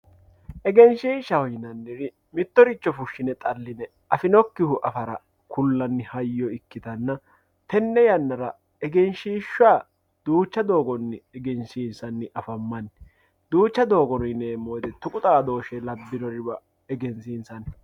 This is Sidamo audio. egenshiishshaho yinannihu mittoricho fushshine xalline afinokkihu afara kullanni hayyo ikkitanna tenne yannara egenshiishsha duucha doogonni egensiinsanni afammanni duucha doogo yineemmo wote tuqu xaadooshe labbinoriwa egensiinsanni.